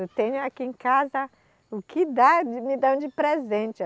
Eu tenho aqui em casa, o que dá, de me dão de presente.